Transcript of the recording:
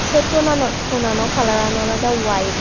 say tonanot tonanno kalaran oloda wide.